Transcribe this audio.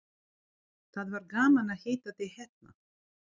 Það var gaman að hitta þig hérna.